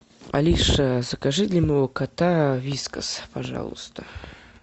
алиса закажи для моего кота вискас пожалуйста